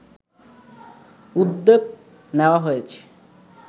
উদ্যোগ নেওয়া হয়েছে